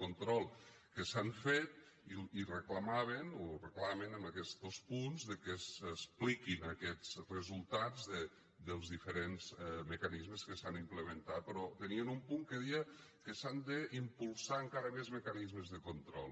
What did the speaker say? control que s’han fet i reclamaven o reclamen amb aquestos punts que s’expliquin aquests resultats dels diferents mecanismes que s’han implementat però tenien un punt que deia que s’han d’impulsar encara més mecanismes de control